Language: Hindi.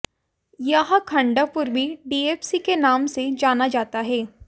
यह खंड पूर्वी डीएफसी के नाम से जाना जाता है